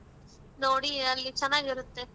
ನೋಡಿ ಅಲ್ ಚೆನ್ನಾಗಿರತ್ತೆ.